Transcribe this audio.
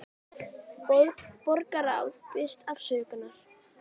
Borgarráð biðst afsökunar